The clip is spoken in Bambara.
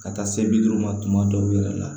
Ka taa se bi duuru ma tuma dɔw yɛrɛ la